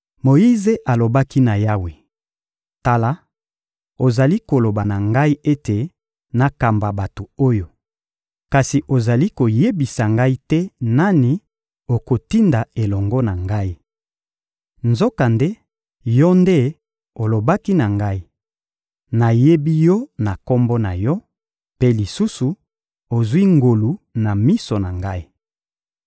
Moyize alobaki na Yawe: — Tala, ozali koloba na ngai ete nakamba bato oyo, kasi ozali koyebisa ngai te nani okotinda elongo na ngai. Nzokande Yo nde olobaki na ngai: «Nayebi yo na kombo na yo,» mpe lisusu: «Ozwi ngolu na miso na Ngai.»